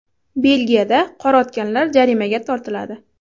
Belgiyada qor otganlar jarimaga tortiladi.